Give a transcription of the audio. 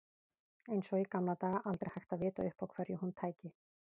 Eins og í gamla daga, aldrei hægt að vita upp á hverju hún tæki.